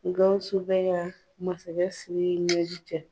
Gawsu bɛ ka masakɛ Siriki ɲɛji cɛ.